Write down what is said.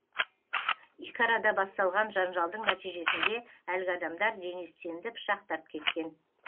екі арада басталған жанжалдың нәтижесінде әлгі адамдар денис тенді пышақтап кеткен